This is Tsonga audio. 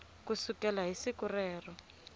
ku sukela hi siku ro